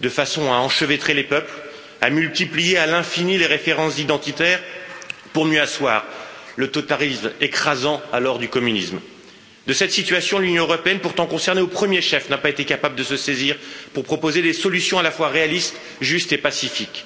de façon à enchevêtrer les peuples, à multiplier à l'infini les références identitaires pour mieux asseoir le totalitarisme écrasant du communisme. De cette situation, l'Union, pourtant concernée au premier chef, n'a pas été capable de se saisir pour proposer des solutions à la fois réalistes, justes et pacifiques.